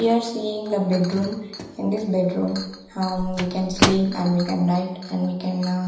we are seeing the bedroom in this bedroom hum we can sleep well can night and we can aa --